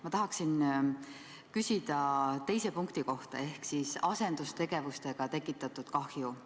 Ma tahaksin küsida teise punkti ehk asendustegevustega tekitatud kahju kohta.